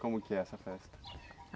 Como que é essa festa?